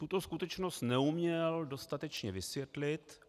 Tuto skutečnost neuměl dostatečně vysvětlit.